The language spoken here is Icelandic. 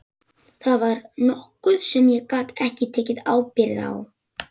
Það var nokkuð sem ég gat ekki tekið ábyrgð á.